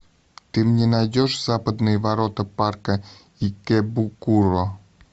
ты мне найдешь западные ворота парка икэбукуро